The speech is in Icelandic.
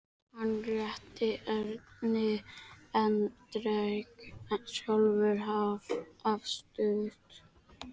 Hann rétti Erni en drakk sjálfur af stút.